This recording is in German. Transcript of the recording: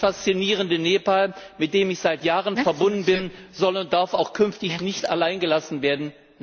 Das faszinierende Nepal, mit dem ich seit Jahren verbunden bin, soll und darf auch künftig nicht allein gelassen werden!